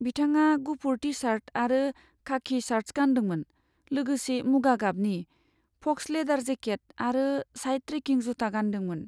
बिथाङा गुफुर T shirt आरो खाकि शर्ट्स गानदोंमोन, लोगोसे मुगा गाबनि, फक्स लेडार जेकेट आरो साइड ट्रेकिंग जुथा गान्दोंमोन।